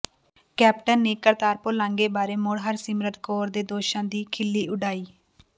captain ਨੇ ਕਰਤਾਰਪੁਰ ਲਾਂਘੇ ਬਾਰੇ ਮੁੜ ਹਰਸਿਮਰਤ ਕੌਰ ਦੇ ਦੋਸ਼ਾਂ ਦੀ ਖਿੱਲੀ ਉਡਾਈ